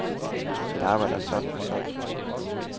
Mit arbejde er sådan og sådan.